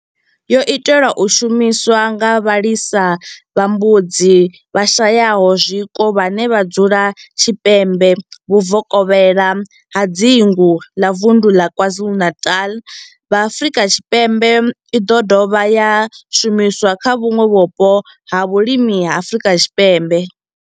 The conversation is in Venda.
Yo itelwa u shumiswa nga vhalisa vha mbudzi vhashayaho zwiko vhane vha dzula tshipembe vhuvokela ha dzingu ḽa Vunḓu ḽa KwaZulu-Natal, Afrika Tshipembe i do dovha ya shumiswa kha vhuṋwe vhupo ha vhulimi ha Afrika Tshipembe.